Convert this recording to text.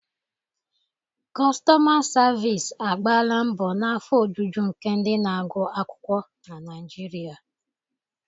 Kostoma savisi agbala mbo na afọ ojuju nke ndị na-agụ akwukwuo na Naijiria.